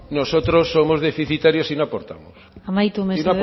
nosotros somos deficitarios y no aportamos y no aportamos amaitu mesedez